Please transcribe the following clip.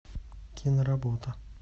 киноработа